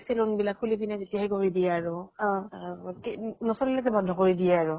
saloon বিলাক খুলি পিনে যেতিয়া, সেই কৰি দিয়ে আৰু নচলিলে যে বন্ধ কৰি দিয়ে আৰু